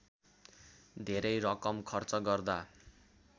धेरै रकम खर्च गर्दा